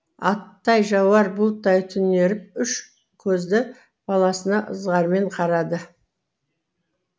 атай жауар бұлттай түнеріп үш көзді баласына ызғармен қарады